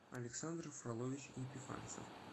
александр фролович епифанцев